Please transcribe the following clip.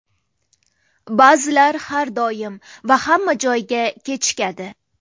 Ba’zilar har doim va hamma joyga kechikadi.